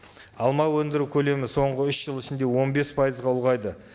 алма өндіру көлемі соңғы үш жыл ішінде он бес пайызға ұлғайды